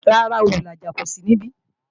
Rárá, Olùlàjà kó sí níbí